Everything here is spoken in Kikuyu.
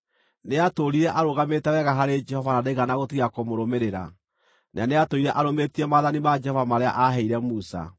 Nĩatũũrire arũgamĩte wega harĩ Jehova na ndaigana gũtiga kũmũrũmĩrĩra; na nĩatũũire arũmĩtie maathani ma Jehova marĩa aaheire Musa.